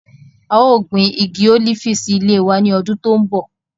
A yóò gbin igi olifi si ile wa ni ọ́dùn to nbọ